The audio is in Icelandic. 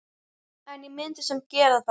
En ég myndi samt gera það.